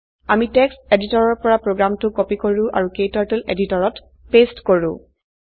আমি টেক্সট এডিটৰৰ পৰা প্ৰোগ্ৰামটো কপি কৰো আৰু ক্টাৰ্টল এডিটৰত পেস্ট কৰো